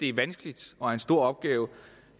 er vanskeligt og en stor opgave